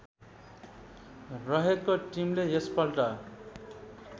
रहेको टिमले यसपल्ट